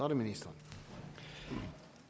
minister